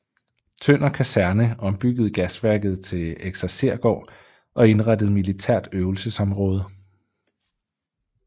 Tønder Kaserne ombyggede gasværket til eksersergård og indrettede militært øvelsesområde